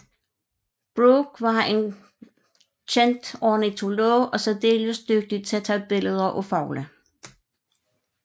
Brooke var en kendt ornitolog og særdeles dygtig til at tage billeder af fugle